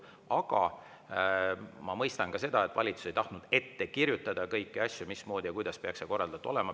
Aga ma mõistan ka seda, et valitsus ei tahtnud ette kirjutada kõiki asju, mismoodi ja kuidas peaks see korraldatud olema.